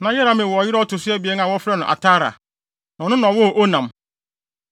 Na Yerahmeel wɔ ɔyere a ɔto so abien a wɔfrɛ no Atara, na ɔno na ɔwoo Onam.